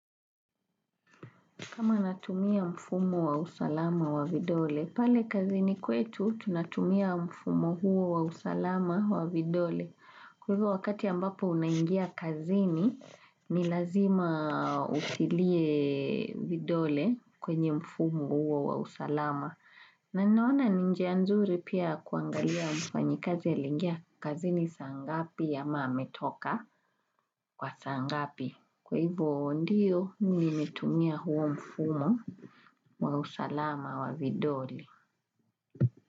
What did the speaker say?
Kama natumia mfumo wa usalama wa vidole, pale kazini kwetu tunatumia mfumo huo wa usalama wa vidole. Kwa hivyo wakati ambapo unaingia kazini, ni lazima usilie vidole kwenye mfumo huo wa usalama. Na naona ninjia nzuri pia kuangalia mfanyikazi ya lingia kazini saa ngapi ya maa metoka kwa saa ngapi. Kwa hivyo ndio nimetumia huo mfumo wa usalama wa vidoli.